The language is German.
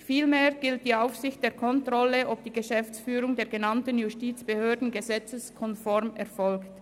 Vielmehr gilt die Aufsicht der Kontrolle, ob die Geschäftsführung der genannten Justizbehörden gesetzeskonform erfolgt.